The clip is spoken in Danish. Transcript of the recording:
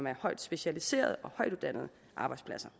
er højt specialiserede arbejdspladser